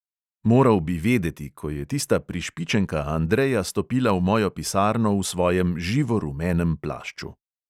Moral bi vedeti, ko je tista prišpičenka andreja stopila v mojo pisarno v svojem živorumenem plašču.